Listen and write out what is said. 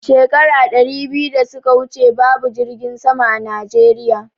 Shekara ɗari biyu da suka wuce babu jirgin sama a Najeriya